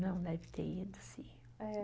Não deve ter ido, sim. É.